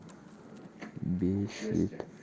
бесит